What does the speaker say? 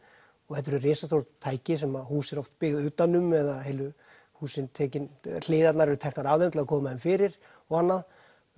þetta eru risastór tæki sem hús eru oft byggð utan um eða heilu húsin hliðarnar eru teknar af þeim til að koma þeim fyrir og annað